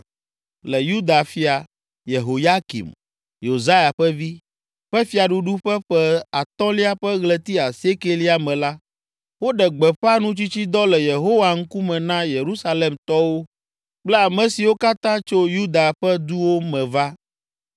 Le Yuda fia, Yehoyakim, Yosia ƒe vi, ƒe fiaɖuɖu ƒe ƒe atɔ̃lia ƒe ɣleti asiekɛlia me la, woɖe gbeƒã nutsitsidɔ le Yehowa ŋkume na Yerusalemtɔwo kple ame siwo katã tso Yuda ƒe duwo me va.